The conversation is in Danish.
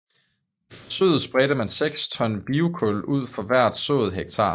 I forsøget spredte man seks ton biokul ud for hvert sået hektar